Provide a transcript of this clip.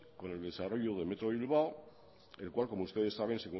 con el desarrollo de metro bilbao el cual como ustedes saben